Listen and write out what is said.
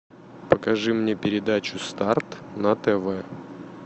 покажи мне передачу старт на тв